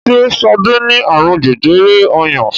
ṣe Sade ní arun jẹjẹrẹ ọyàn?